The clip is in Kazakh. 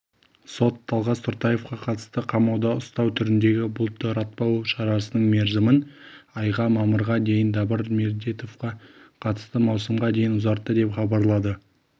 сот талғас тұртаевқа қатысты қамауда ұстау түріндегі бұлтартпау шарасының мерзімін айға мамырға дейін дабыр медетбековке қатысты маусымға дейін ұзартты деп хабарлады